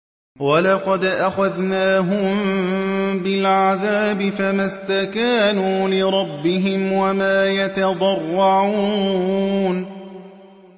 وَلَقَدْ أَخَذْنَاهُم بِالْعَذَابِ فَمَا اسْتَكَانُوا لِرَبِّهِمْ وَمَا يَتَضَرَّعُونَ